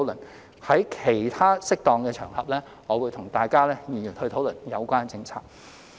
我會在其他適當的場合再與各位議員討論有關政策。